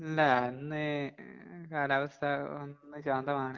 ഇല്ലാ ഇന്ന് കാലാവസ്ഥ ഒന്ന് ശാന്തമാണ്.